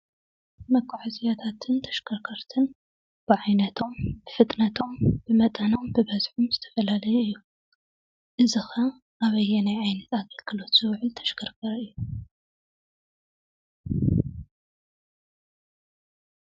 መጓዓዛያታትን ተሽከርከርትን ብዓይነቶም ፣ ብፍጥነቶም፣ ብመጠኖም፣ ብበዝሖም ዝተፈላለዩ እዮም፡፡ እዚ ኸ ኣበየናይ ዓይነት ኣገልግሎት ዝውዕል ተሽከርካሪ እዩ?